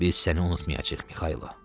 Biz səni unutmayacağıq, Mikaylova.